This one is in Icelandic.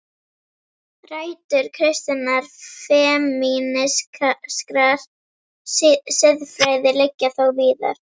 Rætur kristinnar femínískrar siðfræði liggja þó víðar.